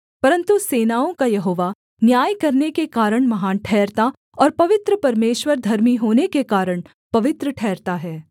परन्तु सेनाओं का यहोवा न्याय करने के कारण महान ठहरता और पवित्र परमेश्वर धर्मी होने के कारण पवित्र ठहरता है